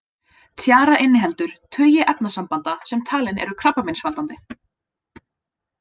Tjara inniheldur tugi efnasambanda sem talin eru krabbameinsvaldandi.